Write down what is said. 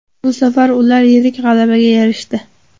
Bu safar ular yirik g‘alabaga erishdi.